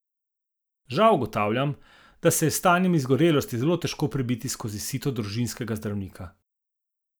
Žal ugotavljam, da se je s stanjem izgorelosti zelo težko prebiti skozi sito družinskega zdravnika.